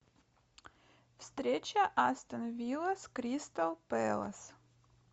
встреча астон вилла с кристал пэлас